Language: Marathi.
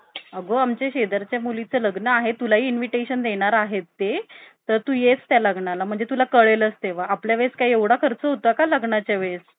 अग आमच्या शेजारच्या मुलीचं लग्न आहे तुलाही invitation देणार आहे ते तर तू येच त्या लग्नाला म्हणजे तुला कळेल तेव्हा आपल्या वेळेस काय एवढा खर्च होतं का? लग्नाच्या वेळेस.